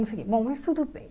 Bom, mas tudo bem.